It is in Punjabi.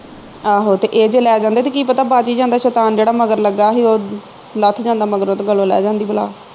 ਆਹੋ ਤੇ ਇਹ ਜੇ ਲੈ ਜਾਂਦੇ ਤੇ ਕੀ ਪਤਾ ਬਚ ਹੀ ਜਾਂਦਾ ਸ਼ੈਤਾਨ ਜਿਹੜਾ ਮਗਰ ਲੱਗਾ ਹੀ ਉਹ ਲੱਥ ਜਾਂਦਾ ਮਗਰੋਂ ਤੇ ਗਲੋ ਲੈ ਜਾਂਦੀ ਬਲਾ